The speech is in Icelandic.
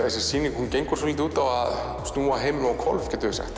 þessi sýning gengur svolítið út á að snúa heiminum á hvolf